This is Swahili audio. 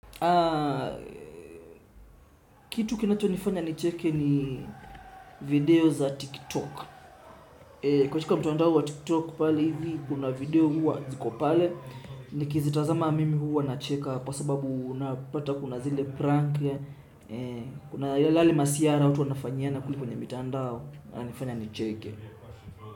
Kitu kinato nifanya nicheke ni video za tiktok. Katika mtandao wa tiktok pale hivi kuna video huwa ziko pale. Nikizitazama mimi huwa nacheka kwa sababu unapata kuna zile prank. Kuna yale masihara watu wanafanyiana kule kwenye mitandao yananifanya nicheke.